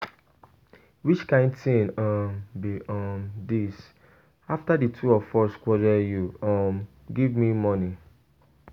Which kin thing um be um dis. After the two of us quarrel you um give me money.